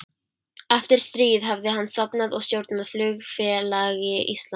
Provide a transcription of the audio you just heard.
Eftir stríð hafði hann stofnað og stjórnað Flugfélagi Íslands